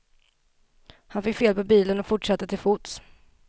Han fick fel på bilen och fortsatte till fots.